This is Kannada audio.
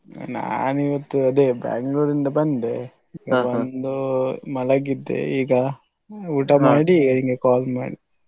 ನಾನು ಇವತ್ತು ಅದೇ Bangalore ಇಂದ ಬಂದೆ ಬಂದು ಮಲಗಿದ್ದೆ ಈಗ ಊಟ ಮಾಡಿ ನಿಂಗೆ call ಮಾಡಿದ್ದು.